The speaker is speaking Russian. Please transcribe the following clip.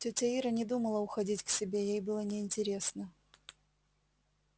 тётя ира не думала уходить к себе ей было интересно